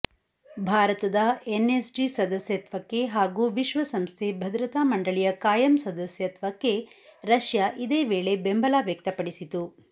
ಭಾರತದ ಎನ್ಎಸ್ಜಿ ಸದಸ್ಯತ್ವಕ್ಕೆ ಹಾಗೂ ವಿಶ್ವಸಂಸ್ಥೆ ಭದ್ರತಾ ಮಂಡಳಿಯ ಕಾಯಂ ಸದಸ್ಯತ್ವಕ್ಕೆ ರಷ್ಯಾ ಇದೇ ವೇಳೆ ಬೆಂಬಲ ವ್ಯಕ್ತಪಡಿಸಿತು